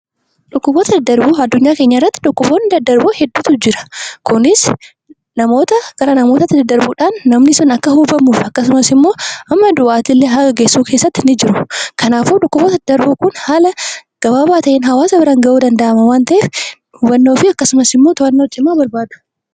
Dhukkuboonni daddarboon addunyaa kanarra hedduutu jira isaanis namoota irraa gara namootaatti daddarbuun namoonni sun akkasumas immoo hamma du'aattillee geessisu ni jiru. Kanaafummoo dhukkuboonni daddarboo ta'an kun haala gabaabaa ta'een namoota bira gahuu danda'u waan ta'eef to'annoo cimaa barbaadu.